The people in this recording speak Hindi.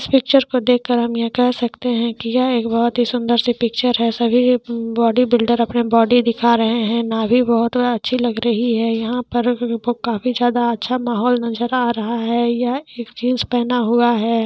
इस पिक्चर को देख कर हम कह सकते है कि यह एक बहुत सुन्दर सी पिक्चर है सभी बॉडी बिल्डर अपना बॉडी दिखा रहे है नाभि बहुत अच्छी लग रही है यहाँ पर काफी जायद अच्छा माहोल नजर आ रहा है यह एक जीन्स पहना हुआ है।